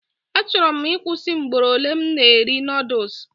Achọrọ m ịkwụsị mgboro ole m na eri noodules